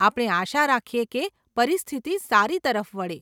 આપણે આશા રાખીએ કે પરિસ્થિતિ સારી તરફ વળે.